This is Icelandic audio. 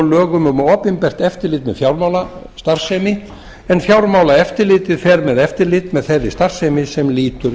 lögum um opinbert eftirlit með fjármálastarfsemi en fjármálaeftirlitið fer með eftirlit með þeirri starfsemi sem lýtur